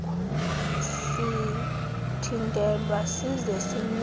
sithintelwe size sinyangwe